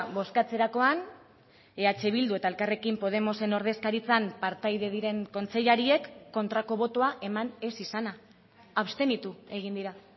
bozkatzerakoan eh bildu eta elkarrekin podemosen ordezkaritzan partaide diren kontseilariek kontrako botoa eman ez izana abstenitu egin dira